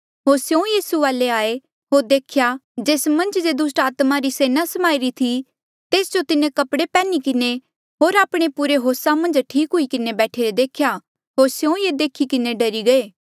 होर स्यों यीसू वाले आये होर देखा जेस मन्झ जे दुस्ट आत्मा री सेना समाईरी थी तेस जो तिन्हें कपड़े पैहनी किन्हें होर आपणे पुरे होसा मन्झ ठीक हुई किन्हें बैठीरे देख्या होर स्यों ये देखी किन्हें डरी गये